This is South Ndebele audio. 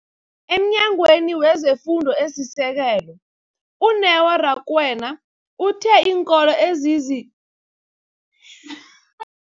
EmNyangweni wezeFundo esiSekelo, u-Neo Rakwena, uthe iinkolo ezizi